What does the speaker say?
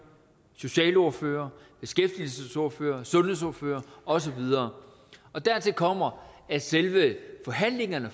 socialordførerne beskæftigelsesordførerne sundhedsordførerne og så videre dertil kommer at selve forhandlingerne